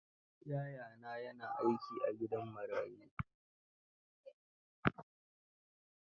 Yayana ya na aiki a gidan marayu.